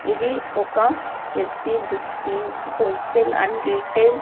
ఇది ఒక S V books links wholesale and retail --